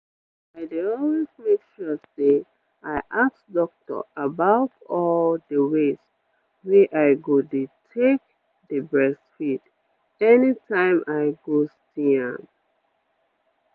i dey always make sure say i ask doctor about all the ways wey i go dey take dey breastfeed anytime i go see am.